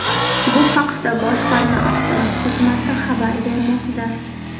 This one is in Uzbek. Bu haqda boshqarma axborot xizmati xabar bermoqda.